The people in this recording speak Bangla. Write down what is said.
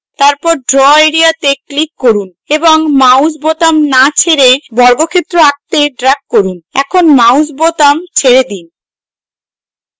তারপর draw এরিয়াতে click করুন এবং mouse বোতাম না ছেড়ে বর্গক্ষেত্র আঁকতে drag করুন এখন mouse বোতাম ছেড়ে then